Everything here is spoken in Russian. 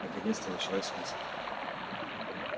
наконец-то началась высадка